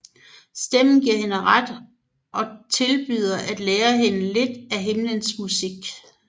Stemmen giver hende ret og tilbyder at lære hende lidt af himlens musik